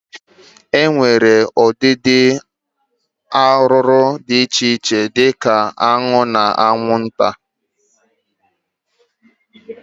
E nwere ụdịdị ụmụ arụrụ di iche iche di ka aṅụ na aṅwụnta.